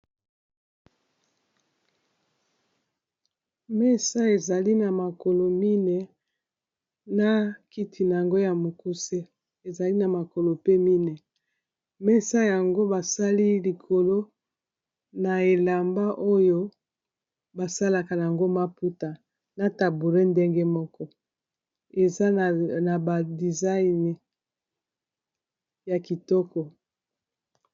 Mesa ezali na makolo mine na kiti nango ya mokuse ezali na makolo pe mine, mesa yango basali likolo na elamba oyo ba salaka yango maputa na tabouret ndenge moko eza na ba designe ya kitoko.